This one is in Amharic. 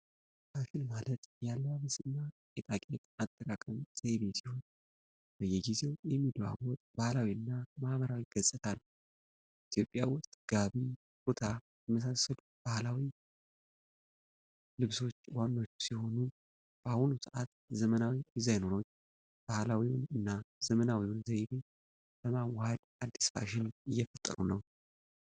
ፋሽን ማለት የአለባበስና ጌጣጌጥ አጠቃቀም ዘይቤ ሲሆን፣ በየጊዜው የሚለዋወጥ ባህላዊና ማኅበራዊ ገጽታ ነው። ኢትዮጵያ ውስጥ ጋቢ፣ ኩታና የመሳሰሉ ባህላዊ ልብሶች ዋናዎቹ ሲሆኑ፣ በአሁኑ ሰዓት ዘመናዊ ዲዛይነሮች ባህላዊውን እና ዘመናዊውን ዘይቤ በማዋሃድ አዲስ ፋሽን እየፈጠሩ ነው።